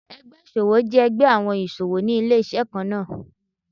Ẹgbẹ́ ìṣòwò jẹ́ ẹgbẹ́ àwọn ìṣòwò ní ilé-iṣẹ́ kan náà.